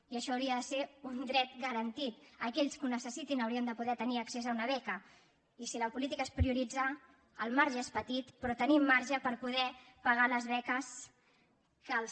i això hauria de ser un dret garantit aquells que ho necessitin haurien de poder tenir accés a una beca i si la política és prioritzar el marge és petit però tenim marge per poder pagar les beques que els